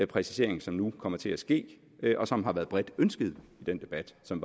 præcisering som nu kommer til at ske og som har været bredt ønsket i den debat som